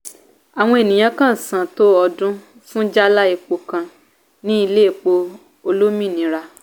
àwọn ènìyàn kàn ṣàn tó ọdún fún jálá epo kan ní ilé èpò olómìnira.